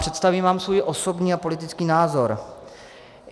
Představím vám svůj osobní a politický názor.